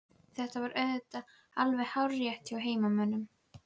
Þetta var auðvitað alveg hárrétt hjá heimamönnum.